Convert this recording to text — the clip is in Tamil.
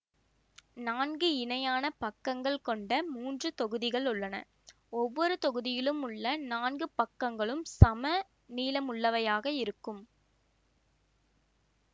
நான்கு இணையான பக்கங்கள் கொண்ட மூன்று தொகுதிகள் உள்ளன ஒவ்வொரு தொகுதியிலும் உள்ள நான்கு பக்கங்களும் சம நீளமுள்ளவையாக இருக்கும்